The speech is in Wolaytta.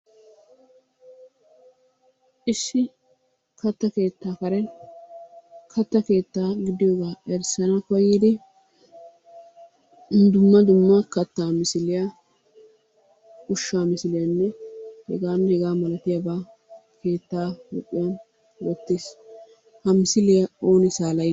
Issi katta keettaa karen, katta keettaa gidiyooga erissana koyyidi dumma dumma kattaa misiliyaa, ushsha misiliyaanne heganne hegaa malatiuaaba keetta huuphiyan wottiis. Ha misiliya ooni salayide?